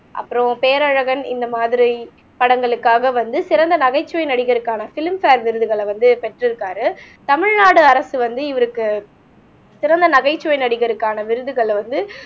அப்புறம் பேரழகன் இந்த மாதிரி படங்களுக்காக வந்து சிறந்த நகைச்சுவை நடிகருக்கான ப்லிம் ப்ஹேர் விருதுகளை வந்து பெற்றுருக்காரு தமிழ்நாடு அரசு வந்து இவருக்கு சிறந்த நகைச்சுவை நடிகருக்கான விருதுகளை வந்து